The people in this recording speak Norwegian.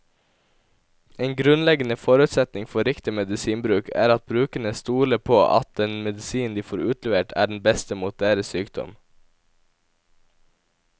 En grunnleggende forutsetning for riktig medisinbruk er at brukerne stoler på at den medisinen de får utlevert, er den beste mot deres sykdom.